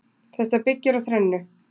Þetta byggir á þrennu